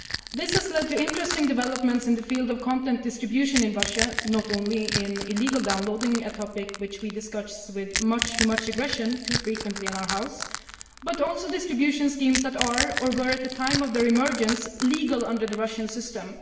This has led to interesting developments in the field of content distribution in Russia, not only in illegal downloading a topic which we discuss with far too much aggression too frequently in our House but also in distribution schemes that are, or were at the time of their emergence, legal under the Russian system.